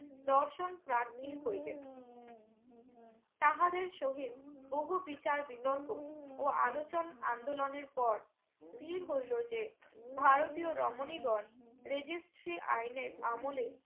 দর্শন প্রাথী হইলেন তাহাদের শহীদ বহু বিচার বির্তক ও আলোচন আন্দলনের পর স্থির হইলো যে ভারতীয় রমণী গন registry আইনের আমলে